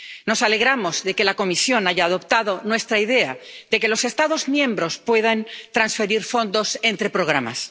Nos alegramos de que la Comisión haya adoptado nuestra idea de que los Estados miembros puedan transferir fondos entre programas.